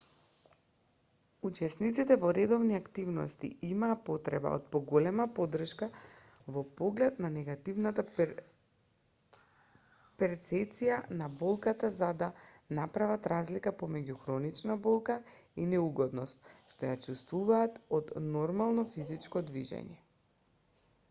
учесниците во редовни активности имаа потреба од поголема поддршка во поглед на негативната перцеција на болката за да направат разлика помеѓу хроничната болка и неугодноста што ја чувствуваат од нормално физичко движење